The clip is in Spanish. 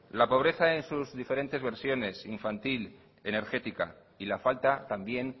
la pobreza en sus diferentes versiones infantil energética y la falta también